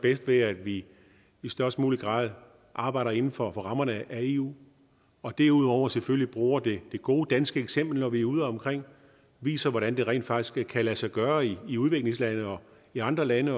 bedst ved at vi i størst mulig grad arbejder inden for rammerne af eu og derudover selvfølgelig bruger det gode danske eksempel når vi er udeomkring og viser hvordan det rent faktisk kan lade sig gøre i udviklingslande i andre lande